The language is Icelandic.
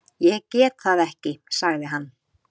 Ég get það ekki sagði hann.